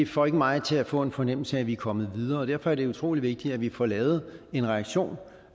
får ikke mig til at få en fornemmelse af at vi er kommet videre og derfor er det utrolig vigtigt at vi får lavet en reaktion